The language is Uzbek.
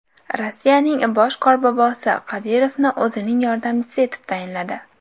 Rossiyaning bosh Qorbobosi Qodirovni o‘zining yordamchisi etib tayinladi.